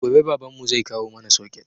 Gobe baban mu zai kawo mana soket